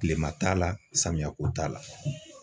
Kilema t'a la samiyako t'a la.